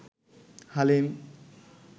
Halim